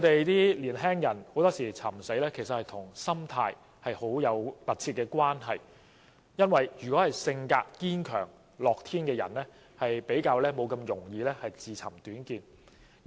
年輕人尋死其實常常與心態有密切關係，因為性格堅強和樂天的人通常不會輕易自尋短見。